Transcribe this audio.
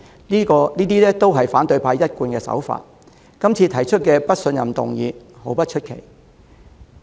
這本是反對派的慣技，今次提出不信任議案並不叫人意外。